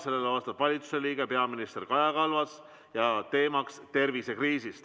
Talle vastab valitsuse liige, peaminister Kaja Kallas, teema on tervisekriis.